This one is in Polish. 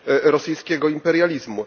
rosyjskiego imperializmu,